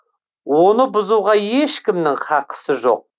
оны бұзуға ешкімнің хақысы жоқ